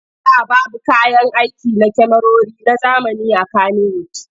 A da babu kayan aiki na kyamarori na zamani a Kanniwud.